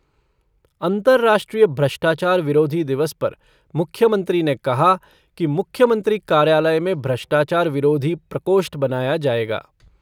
अंर्तराष्ट्रीय भ्रष्टाचार विरोधी दिवस पर मुख्यमंत्री ने कहा कि कार्यालय में भ्रष्टाचार विरोधी प्रकोष्ठ बनाया जाएगा।